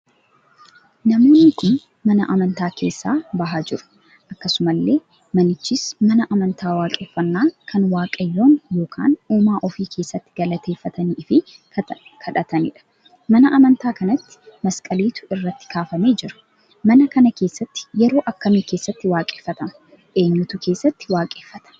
Namoonni kun mana amantaa keessa bahaa jiru. akkasumallee manichis mana amantaa waaqeffannaa kan waaqayyoon ykn uumaa ofii keessatti galateffatanii fi kadhataniidha. mana amantaa kanatti maskaliitu irratti kaafamee jira. mana kana keessatti yeroo akkamii keessatti waaqeffatama? Eenyutu keessatti waaqeffata?